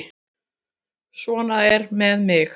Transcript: Svo er með mig.